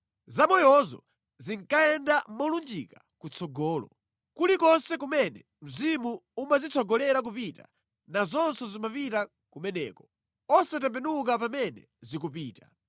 Zamoyozo zinkayenda molunjika kutsogolo. Kulikonse kumene mzimu umazitsogolera kupita, nazonso zimapita kumeneko, osatembenuka pamene zikupita.